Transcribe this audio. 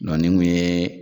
Nɔn nin kun ye